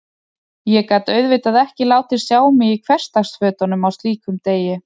Ég gat auðvitað ekki látið sjá mig í hversdagsfötunum á slíkum degi.